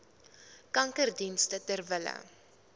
kankerdienste ter wille